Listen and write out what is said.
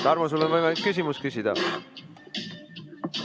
Tarmo, sul on võimalus küsimus küsida.